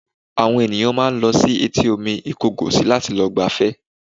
Àwọn ènìyàn máa ń lọ sí etí omi Ìkọgòsì láti lọ gbafẹ́